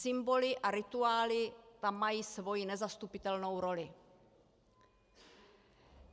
Symboly a rituály tam mají svoji nezastupitelnou roli.